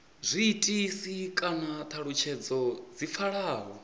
zwiitisi kana thalutshedzo dzi pfalaho